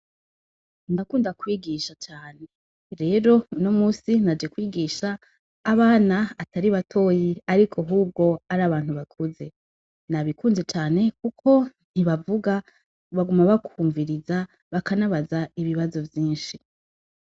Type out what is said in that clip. Ndakunda kwigisha cane, rero unomusi Naje kwigisha abana atari batoyi, ariko hubwo arabantu bakuze. Nabikunze cane kuko ntibavuga baguma bakwumviriza, bakanabaza ibibazo vyinshi.